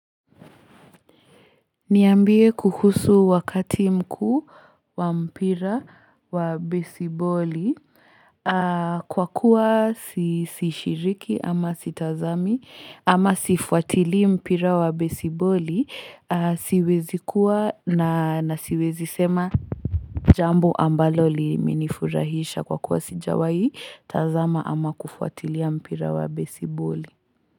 Niambie kuhusu wakati mkuu wa mpira wa besiboli kwa kuwa sishiriki ama sitazami ama sifuatili mpira wa besiboli siwezi kuwa na nasiwezi sema Jambo ambalo limenifurahisha kwa kuwa sijawai tazama ama kufuatili mpira wa besiboli.